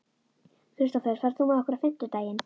Kristdór, ferð þú með okkur á fimmtudaginn?